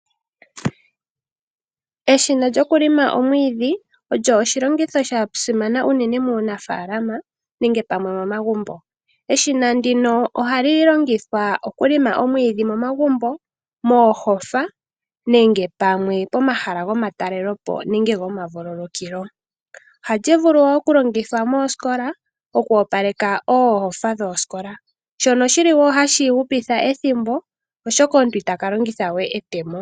Eshina lyokulima omwiidhi olyo oshilongitho sha simana unene muunafaalama nenge pamwe momagumbo. Eshina ndino ohali longithwa okulima omwiidhi momagumbo ,moohofa nenge pamwe pomahala gomatalelo po nenge gomavululukilo. Ohali vulu okulongithwa moosikola okuopaleka oohofa dhoosikola shono shili wo hashi hupitha ethimbo oshoka omuntu itaka longithawe etemo.